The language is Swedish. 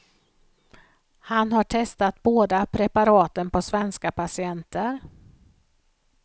Han har testat båda preparaten på svenska patienter.